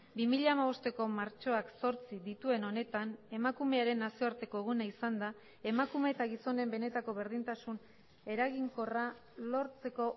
bi mila hamabosteko martxoak zortzi dituen honetan emakumearen nazioarteko eguna izanda emakume eta gizonen benetako berdintasun eraginkorra lortzeko